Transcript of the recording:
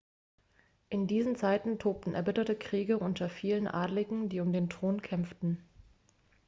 in diesen zeiten tobten erbitterte kriege unter vielen adligen die um den thron kämpften